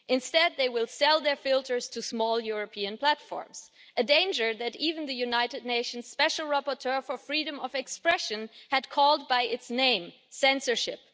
Instead, they will sell their filters to small European platforms, a danger that even the United Nations Special Rapporteur for freedom of expression had called by its name censorship.